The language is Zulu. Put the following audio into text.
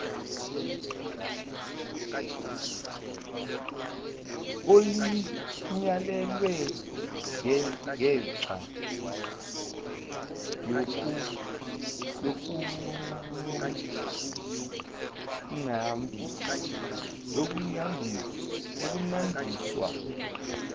olinyalelwe ngengxa yokupnambaniswa